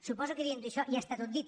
suposo que dient això ja està tot dit